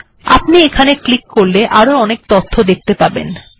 এখন যদি এখানে ক্লিক করা হয় তাহলে আপনি বিভিন্ন প্রকারের তথ্য দেখতে পাবেন